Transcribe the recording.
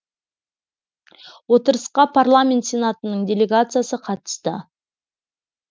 отырысқа парламент сенатының делегациясы қатысты